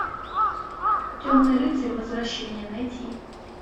темный рыцарь возвращение найти